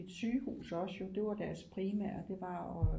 Et sygehus også jo det var deres primære det var at